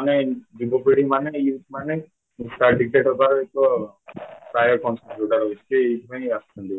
ମାନେ ଯୁବପିଢ଼ି ମାନେ youth ମାନେ ନିଶା addicted ହେବାର ଏକ ରହୁଛି ଆସୁଛନ୍ତି ଏଇମାନେ